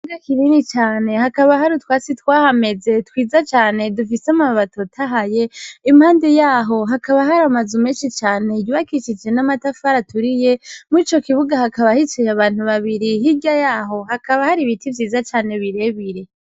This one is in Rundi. Ikibuga kinini cane hakaba hari utwatsi twahameze twiza cane dufise amababi atotahaye, impande yaho hakaba hari amazu menshi cane yubakishije n'amatafari aturiye, muri ico kibuga hakaba hicaye abantu babiri, hirya yaho hakaba hari ibiti vyiza cane birebire.